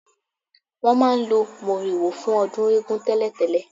Wọn máa ń lo moriwo fún ọdún eégún tẹ́lẹ̀tẹ́lẹ̀